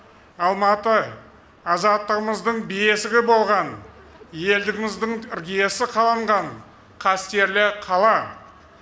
алматы азаттығымыздың бесігі болған елдігіміздің іргесі қаланған қастерлі қала